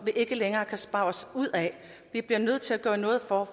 vi ikke længere kan spare os ud af vi bliver nødt til at gøre noget for